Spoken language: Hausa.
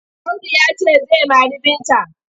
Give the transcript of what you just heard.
Audu ya ce zai mari Binta.